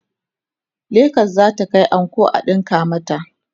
legas zata Kai anko a ɗinka mata